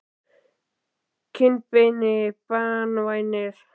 kinnbeini banvænir?